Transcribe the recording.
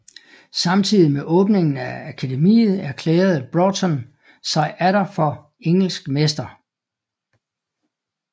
Samtidig med åbningen af akademiet erklærede Broughton sig atter for engelsk mester